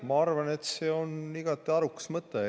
Ma arvan, et see on igati arukas mõte.